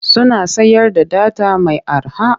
Suna sayar da data mai arha.